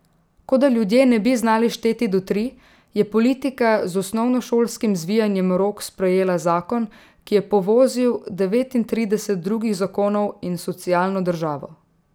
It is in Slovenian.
Kot da ljudje ne bi znali šteti do tri, je politika z osnovnošolskim zvijanjem rok sprejela zakon, ki je povozil devetintrideset drugih zakonov in socialno državo.